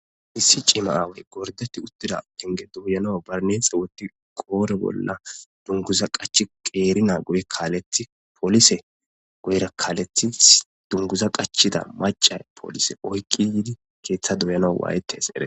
Issi cimma aawozi gorddetti uuttida penge doyanaw barinesse woykko qodhdhe bolla dunguza qaachchi qeeri naa guyera kaaleththi polise guyera kaaleththi dunguza qaachchida maca polisey oykin yiidii pengeza doyanas waayetes